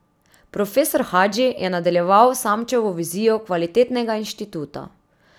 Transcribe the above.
Profesor Hadži je nadaljeval Samčevo vizijo kvalitetnega inštituta.